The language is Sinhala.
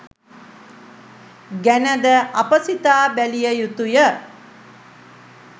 ගැන ද අප සිතා බැලිය යුතුය